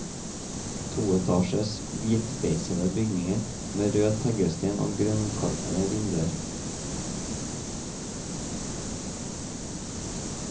Toetasjes, hvitbeisede bygninger med rød teglsten og grønnkarmede vinduer.